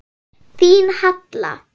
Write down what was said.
Þín Halla.